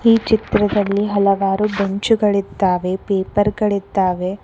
ಚಿತ್ರದಲ್ಲಿ ಹಲವಾರು ಬೆಂಚುಗಳಿದ್ದಾವೆ ಪೇಪರ್ ಗಳಿದ್ದಾವೆ.